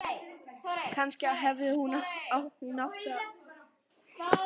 Kannski hafði hún átt barn þrátt fyrir allt.